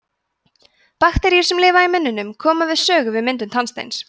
bakteríur sem lifa í munninum koma við sögu við myndum tannsteins